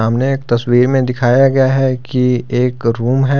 सामने एक तस्वीर में दिखाया गया है कि एक रूम है।